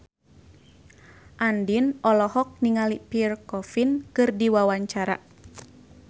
Andien olohok ningali Pierre Coffin keur diwawancara